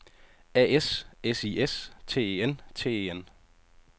A S S I S T E N T E N